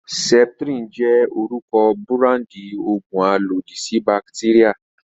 Septrin jẹ́ orúkọ búráńdì òògùn alòdì sí bàtéríà.